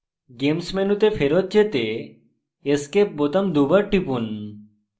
games games মেনুতে ফেরৎ যেতে escape বোতাম দুবার টিপুন